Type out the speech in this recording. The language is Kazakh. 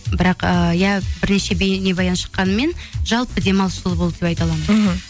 бірақ ыыы иә бірнеше бейнебаян шыққанымен жалпы демалыс жылы болды деп айта аламын мхм